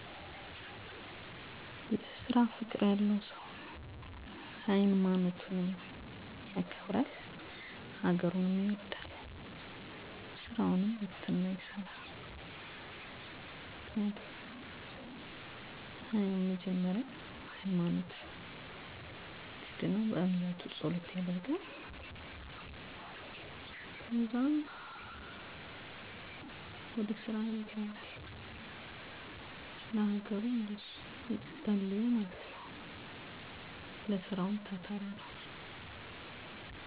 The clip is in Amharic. በአብዛኛው ቀናቶች ጠዋት ጠዋት ወደ ቤተክርስቲያን በመሄድ የእለት ተእለት ፀሎት አደርጋለሁ ስላም ቀን እንዲያውለኝ ሀገራችንን ሰለም እንድትሆን እፀልያለሁ ከዚያም ወደ ምሰራበት ቦታ በመሄድ ቦታውን ለገቢያ ማራኪና ሳቢ እንዲሆን ካመቻቸሁ በኃላ ለእለት ልሸጣቸው የምችለዉን አትክልቶች ድንች ቲማቲም ቃሪያ ጎመን ቀይስር ካሮት የመሳሰሉትንእንደየ መጠናቸው ከጀምላ አከፋፋይ ነጋዴዎች ቲማቲሙን እና ከአምራች ገበሬ ደግሞ ሌሎችን ባለው የገቢያ ዋጋ ገዝቼ ወደ ጉልት ገቢያየ መጥቸ እየቸረቸርኩ እሸጣለሁ